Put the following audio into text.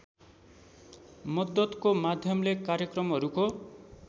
मद्दतको माध्यमले कार्यक्रमहरूको